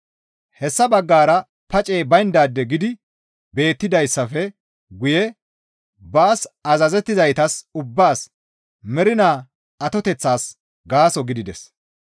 Hessa baggara pacey bayndaade gidi beettidayssafe guye baas azazettizaytas ubbaas mernaa atoteththas gaaso gidides.